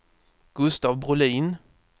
Gustaf Brolin